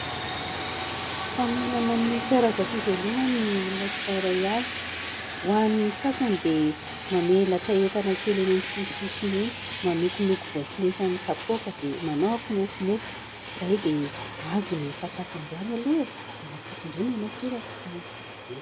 Samy manana ny karazam-pivelomany ny olona tsirairay avy. Ho an'ny sasany dia mamelatra entana kely eny amin'ny sisisiny eny, manokonoko voatsinefy amin'ny kapoaka dia manao kimofomofo. Izay dia azo ny sakafo androany aloha e! Dia rahampitso indray manao torak'izany.